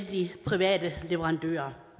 de private leverandører